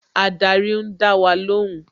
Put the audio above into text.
Ádárì ń dá wa lóhùn